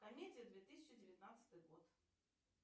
комедия две тысячи девятнадцатый год